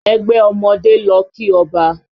Ẹgbẹ́ ọmọdé lọ kí ọba